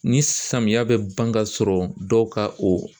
Ni samiyɛ bɛ ban kasɔrɔ dɔw ka o